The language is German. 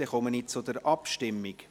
Ich komme also zur Abstimmung.